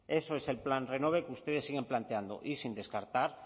eso es el plan renove que ustedes siguen planteando y sin descartar